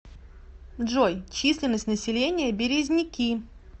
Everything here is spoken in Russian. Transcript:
джой численность населения березники